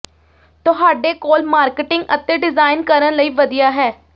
ਤੁਹਾਡੇ ਕੋਲ ਮਾਰਕੀਟਿੰਗ ਅਤੇ ਡਿਜ਼ਾਈਨ ਕਰਨ ਲਈ ਵਧੀਆ ਹੈ